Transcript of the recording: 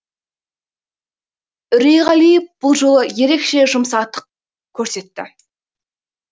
үрейғалиев бұл жолы ерекше жұмсақтық көрсетті